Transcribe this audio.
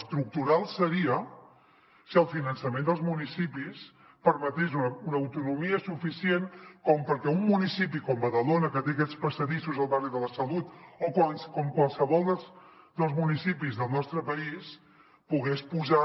estructural ho seria si el finançament dels municipis permetés una autonomia suficient com perquè un municipi com badalona que té aquests passadissos al barri de la salut o com qualsevol dels municipis del nostre país pogués posar